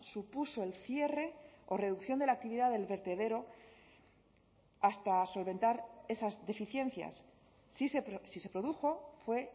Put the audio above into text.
supuso el cierre o reducción de la actividad del vertedero hasta solventar esas deficiencias si se produjo fue